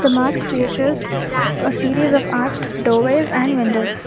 Mask features a series of and windows.